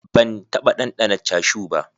Ban taɓa ɗanɗana cashu ba.